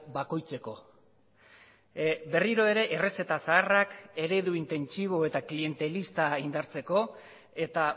bakoitzeko berriro ere errezeta zaharrak eredu intentsibo eta klientelista indartzeko eta